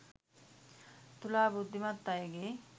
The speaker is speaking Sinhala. තුලා බුද්ධිමත් අයගේ